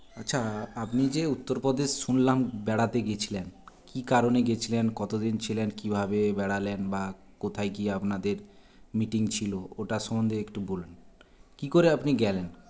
আচ্ছা আপনি যে উত্তর প্রদেশ শুনলাম বেড়াতে গেছিলেন কী কারণে গেছিলেন কতদিন ছিলেন কীভাবে বেড়ালেন বা কোথায় গিয়ে আপনাদের meeting ছিল ওটা সম্বন্ধে একটু বলুন কী করে আপনি গেলেন